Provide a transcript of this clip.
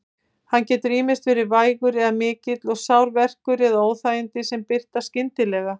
Hann getur ýmist verið vægur eða mikill og sár verkur eða óþægindi sem birtast skyndilega.